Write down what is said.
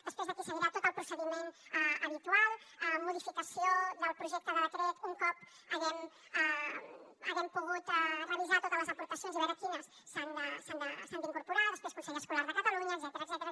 després d’aquí seguirà tot el procediment habitual modificació del projecte de decret un cop haguem pogut revisar totes les aportacions i veure quines s’hi han d’incorporar després consell escolar de catalunya etcètera